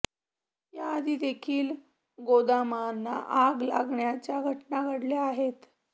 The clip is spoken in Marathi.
या आधी देखील गोदामांना आग लागल्याच्या घटना घडल्या आहेत